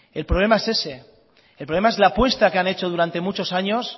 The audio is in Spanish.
el problema es ese el problema es la apuesta que han hecho durante muchos años